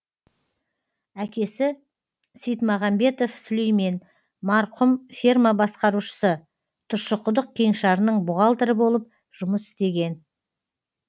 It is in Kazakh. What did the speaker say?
әкесі сейтмағамбетов сулеймен марқұм ферма басқарушысы тұщықұдық кеңшарының бухгалтері болып жұмыс істеген